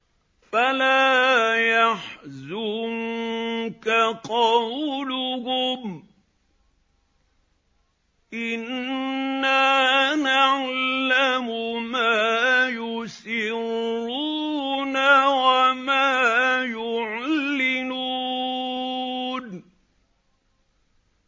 فَلَا يَحْزُنكَ قَوْلُهُمْ ۘ إِنَّا نَعْلَمُ مَا يُسِرُّونَ وَمَا يُعْلِنُونَ